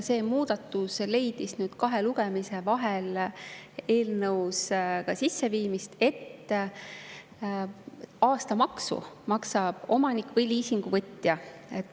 See muudatus viidi kahe lugemise vahel eelnõusse sisse, et aastamaksu maksab liisinguvõtja.